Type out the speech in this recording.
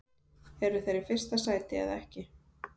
Eru þeir í fyrsta sæti eða ekki?